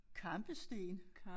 Kampesten